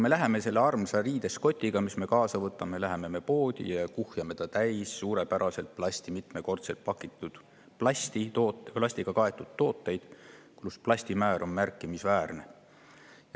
Me läheme selle armsa riidest kotiga, mis me kaasa võtame, poodi ja kuhjame ta täis mitmekordselt plasti pakitud või plastiga kaetud tooteid, milles plasti määr on märkimisväärne.